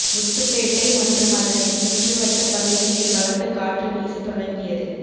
முத்துப்பேட்டை மற்றும் அதனை சுற்றுவட்டப் பகுதியில் பலத்த காற்று வீச தொடங்கியது